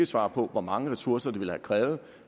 svare på hvor mange ressourcer det ville have krævet